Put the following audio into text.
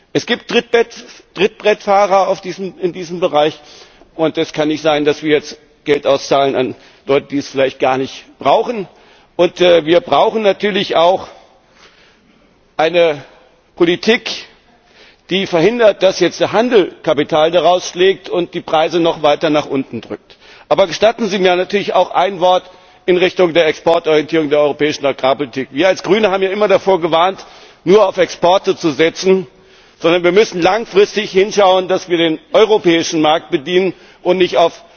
Es gibt in diesem Bereich Trittbrettfahrer, und es kann nicht sein, dass wir jetzt Geld an Leute auszahlen, die es vielleicht gar nicht brauchen. Wir brauchen natürlich auch eine Politik, die verhindert, dass jetzt der Handel Kapital daraus schlägt und die Preise noch weiter nach unten drückt. Gestatten Sie mir auch ein Wort in Richtung der Exportorientierung der europäischen Agrarpolitik. Wir als Grüne haben ja immer davor gewarnt, nur auf Exporte zu setzen, sondern wir müssen langfristig hinschauen, dass wir den europäischen Markt bedienen und nicht